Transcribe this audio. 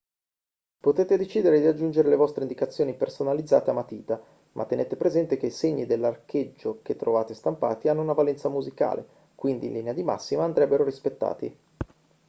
potete decidere di aggiungere le vostre indicazioni personalizzate a matita ma tenete presente che i segni dell'archeggio che trovate stampati hanno una valenza musicale quindi in linea di massima andrebbero rispettati